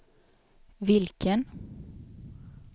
vilken